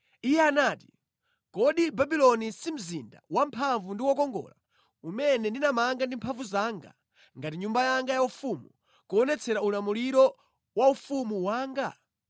iye anati, “Kodi Babuloni si mzinda wamphamvu ndi wokongola umene ndinamanga ndi mphamvu zanga ngati nyumba yanga yaufumu, kuonetsera ulemerero wa ufumu wanga?”